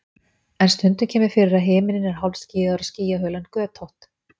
en stundum kemur fyrir að himinninn er hálfskýjaður og skýjahulan er götótt